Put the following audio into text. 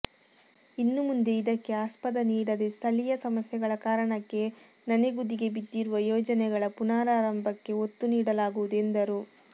ಇನ್ನು ಮುಂದೆ ಇದಕ್ಕೆ ಆಸ್ಪದ ನೀಡದೆ ಸ್ಥಳೀಯ ಸಮಸ್ಯೆಗಳ ಕಾರಣಕ್ಕೆ ನನೆಗುದಿಗೆ ಬಿದ್ದಿರುವ ಯೋಜನೆಗಳ ಪುನಾರಂಭಕ್ಕೆ ಒತ್ತು ನೀಡಲಾಗುವುದು ಎಂದರು